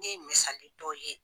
Ne ye misali dɔw ye .